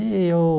Eu